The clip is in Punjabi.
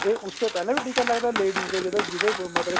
ਤੇ ਉਸ ਤੇ ਪਹਿਲਾਂ ਵੀ ਟਿਕਾ ਲੱਗਦਾ ladies ਦੇ ਜਦੋ ਜਿਦੇ ਮਤਲਬ